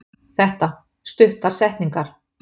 Þetta: Stuttar setningar.